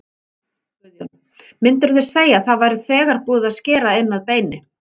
Guðjón: Myndirðu segja að það væri þegar búið að skera inn að beini?